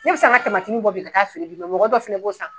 Ne bɛ se ka n ka tamatininw bɔ bi ka taa fili bi mɔgɔw dɔ fɛnɛ b'o san.